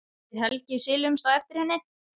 Við Helgi silumst á eftir henni.